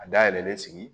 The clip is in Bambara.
A dayɛlɛlen sigi